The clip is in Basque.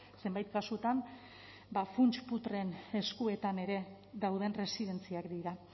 zenbait kasutan ba funts putreen eskuetan ere dauden erresidentziak dira